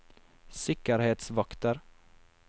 sikkerhetsvakter